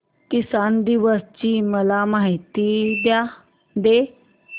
किसान दिवस ची मला माहिती दे